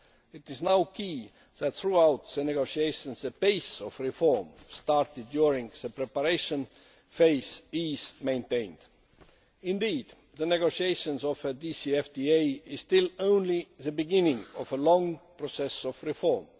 It is now key that throughout the negotiations the pace of reform started during the preparation phase is maintained. Indeed the negotiations of a DCFTA are still only the beginning of a long process of reform.